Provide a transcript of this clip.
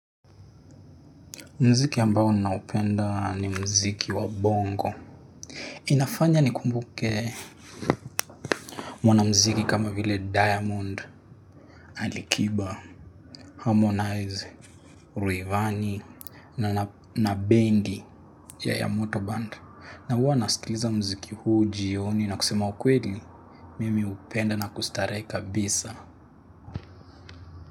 Muziki ambao ninaupenda ni muziki wa bongo. Inafanya nikumbuke mwanamuziki kama vile diamond, ali kiba, harmonize, rayvanny, na bendi ya yamoto band. Na huwa nasikiliza muziki huu jioni na kusema kweli mimi hupenda na kustarehe kabisa.